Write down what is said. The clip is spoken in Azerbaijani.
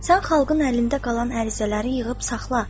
Sən xalqın əlində qalan ərizələri yığıb saxla.